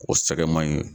O sɛgɛ man ɲi